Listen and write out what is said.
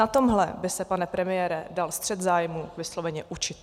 Na tomhle by se, pane premiére, dal střet zájmů vysloveně učit.